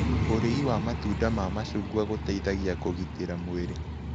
Ũrĩĩ wa matunda ma macũgwa gũteĩthagĩa kũgĩtĩra mwĩrĩ